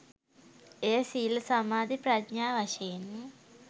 එය සීල සමාධි ප්‍රඥා වශයෙන්